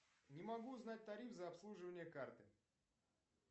не могу узнать тариф за обслуживание карты